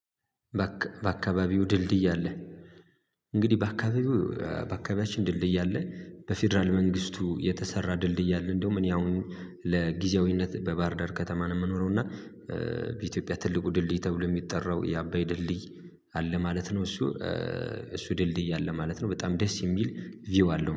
በአካባቢው ድልድይ አለ። እንግዲህ በአካባቢው በአካባቢያችን ድልድይ አለ። በፌደራል መንግስቱ የተሰራ ድልድይ አለ። እንደውም እኔ አሁን ለጊዜያዊነት በባህርዳር ከተማ ነው የምኖረው እና በኢትዮጵያ ትልቁ ድልድይ ተብሎ የሚጠራው የአባይ ድልድይ አለ ማለት ነው። እሱ እሱ ድልድይ አለ ማለት ነው። በጣም ደስ የሚል ቪው አለው